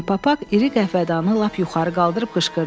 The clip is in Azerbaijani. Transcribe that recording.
Ponipapaq iri qəhvədanı lap yuxarı qaldırıb qışqırdı: